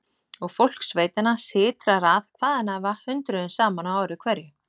Og fólk sveitanna sytrar að hvaðanæva hundruðum saman á ári hverju.